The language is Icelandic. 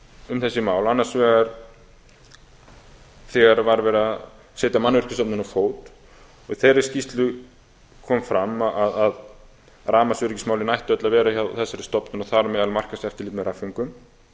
um þessi mál annars vegar þegar var verið að setja mannvirkjastofnun á fót í þeirri skýrslu kom fram að rafmagnsöryggismálin ættu öll að vera hjá þessari stofnun og þar á meðal markaðseftirlit með rafföngum